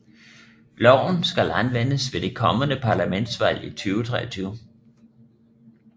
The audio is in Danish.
Loven skal anvendes ved det kommende parlamentsvalg i 2023